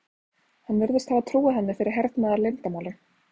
Hann virðist hafa trúað henni fyrir hernaðarleyndarmáli.